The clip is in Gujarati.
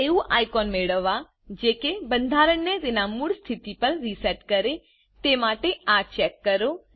એક એવું આઇકોન મેળવવાજે કે બંધારણ ને તેના મૂળ સ્તીથી પર રીસેટ કરેતે માટે આ ચેક કરો